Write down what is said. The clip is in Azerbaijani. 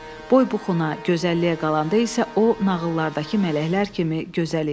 Boy buxuna, gözəlliyə qalanda isə o nağıllardakı mələklər kimi gözəl idi.